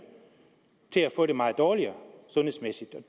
får det meget dårligere sundhedsmæssigt